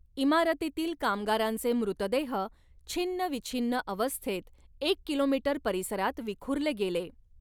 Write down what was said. इमारतीतील कामगारांचे मृतदेह छिन्नविछिन्न अवस्थेत एक किलोमीटर परिसरात विखुरले गेले.